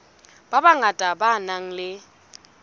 ba bangata ba nang le